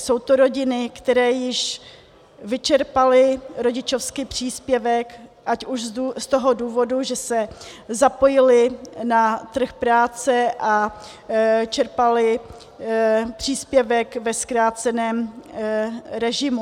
Jsou to rodiny, které již vyčerpaly rodičovský příspěvek, ať už z toho důvodu, že se zapojily na trh práce a čerpaly příspěvek ve zkráceném režimu.